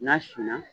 N'a sin na